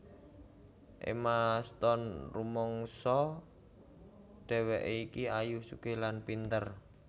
Emma Stone rumangsa dhewekke iki ayu sugih lan pinter